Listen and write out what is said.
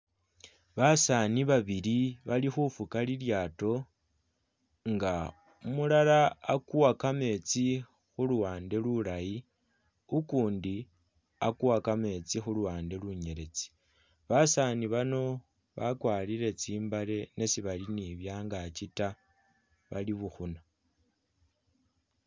Basaani babili bali khufuka lilyaato, nga umulala akuwa kametsi khu luwande lulayi, ukundi akuwa kametsi khu luwande lunyeletsi. Basaani bano bakwarire tsimbale ne sibali ni bangaaki ta bali bukhuna.